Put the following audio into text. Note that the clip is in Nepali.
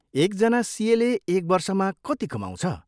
एकजना सिएले एक वर्षमा कति कमाउँछ?